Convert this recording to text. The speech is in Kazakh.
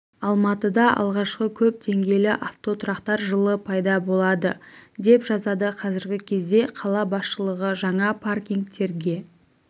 алматыда алғашқы көп деңгейлі автотұрақтар жылы пайда болады деп жазады қазіргі кезде қала басшылығы жаңа паркингтерге